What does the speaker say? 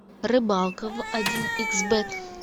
рыбалка в один икс бет